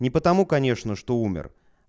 не потому конечно что умер